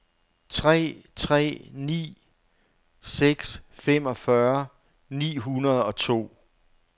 tre tre ni seks femogfyrre ni hundrede og to